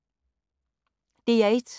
DR1